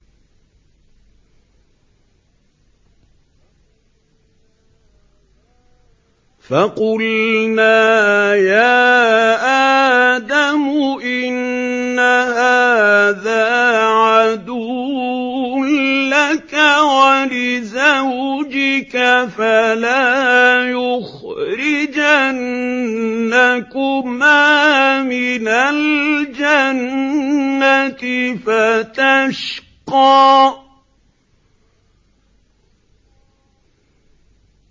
فَقُلْنَا يَا آدَمُ إِنَّ هَٰذَا عَدُوٌّ لَّكَ وَلِزَوْجِكَ فَلَا يُخْرِجَنَّكُمَا مِنَ الْجَنَّةِ فَتَشْقَىٰ